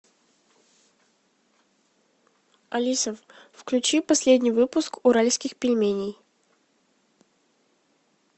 алиса включи последний выпуск уральских пельменей